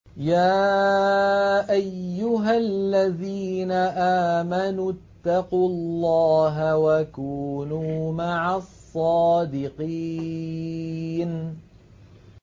يَا أَيُّهَا الَّذِينَ آمَنُوا اتَّقُوا اللَّهَ وَكُونُوا مَعَ الصَّادِقِينَ